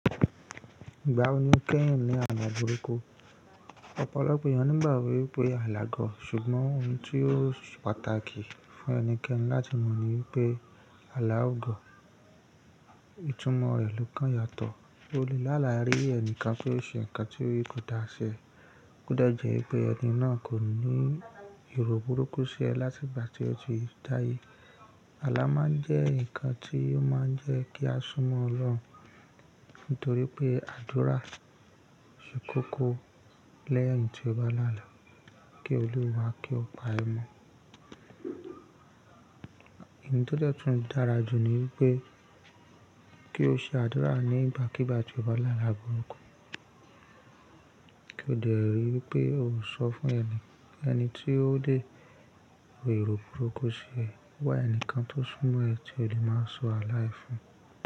Ìgbà wo ni kí ń ní àla burúkú? Ọ̀pọ̀lọpọ̀ èeyàn nígbágbo pé àlá gọ̀, ṣùgbọ́n ohun tí ó pàtàkì fún ẹnikẹ́ni láti mọ̀ ni pé àlá ò gọ̀. Ìtumọ̀ rẹ̀ ló kán yàtọ̀. O lè láàlá rí ẹnìkan pé ó ṣe ǹkan tí kò dáṣẹ́, kódà jẹ́ pé ẹni náà kò ní èrò burúkú sí ẹ látìgbà tí ó ti dáyé. Àlá máa ń jẹ́ ǹkan tí ó máa ń jẹ́ kí a súnmọ́ Ọlọ́run, nítorí pé àdúrà ṣe kókó lẹ́yìn tí ọba lá'àlá kí olúwa kí ó pá a mọ̀. Òún tó dẹ́ tun dára jù ni wípé kí ó ṣe àdúrà ní ìbákígbá tí ọba lá'àlá burúkú. Kí ó dè rí i wípé ó sọ fún ẹni tí ó dé ro èrò burúkú sí ẹ, wá ẹni kan tó súnmọ́ ẹ tí ó lè máa sọ àlá ẹ fún un.